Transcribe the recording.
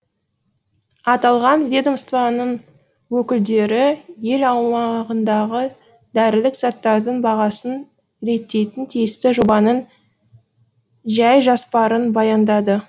аталған ведомстваның өкілдері ел аумағындағы дәрілік заттардың бағасын реттейтін тиісті жобаның жәй жоспарын баяндады